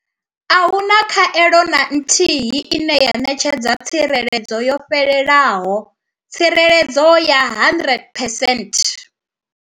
A hu na khaelo na nthihi ine ya ṋetshedza tsireledzo yo fhelelaho tsireledzo ya 100 percent.